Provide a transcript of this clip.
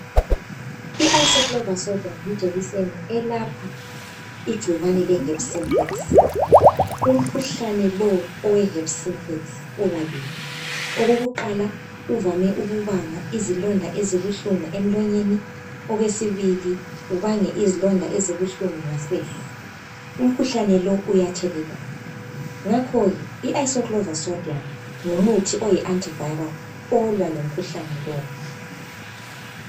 Ianticlovir sodium yijekiseni eyelapha igcikwane le herpes synclex. Umkhuhlane lo ukabili, okokuqala uvame ukubanga izilonda ezibuhlungu emlonyeni. Okwesibili ubange izilonda ezibuhlungu ngasese. Umkhuhlane lo uyathelelwana ngakho ke umuthi lo uyi anti viral elwa lomkhuhlane lo.